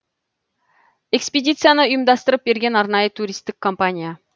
экспедицияны ұйымдастырып берген арнайы туристік компания